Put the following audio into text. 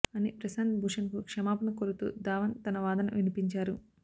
అని ప్రశాంత్ భూషణ్ కు క్షమాపణ కోరుతూ ధావన్ తన వాదన వినిపించారు